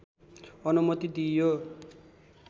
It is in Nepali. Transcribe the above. अनुमति दिइयो